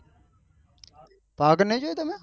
પાવાગઢ નહિ જોયું તમે